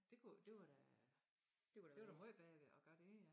Det kunne det var da det var da måj bedre ved at gøre det ja